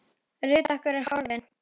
Ruth okkar er horfin.